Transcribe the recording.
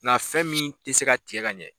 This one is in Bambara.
Nka fɛn min te se ka tigɛ ka ɲɛ